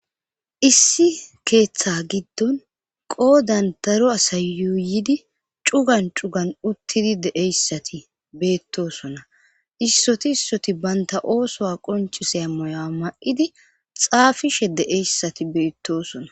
issi keeththa giddon qoodan daro asayuuyidi cugan cugan uttidi deeyssati beettosona issoti issoti baynta oosoa qonchisea moya ma7idi xaafishe deeyssati beettosona